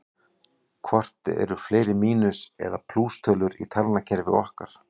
Hvort eru fleiri mínus- eða plústölur í talnakerfi okkar?